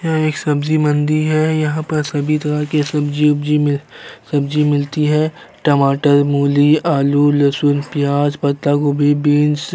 यह एक सब्जी मंडी है। यहाँ पर सभी तरह के सब्जी ओबजी मि सब्जी मिलती है टमाटर मूली आलू लहसुन प्याज पत्ता गोभी बिन्स --